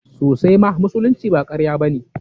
Sosaima, musulunci ba karya ba ce.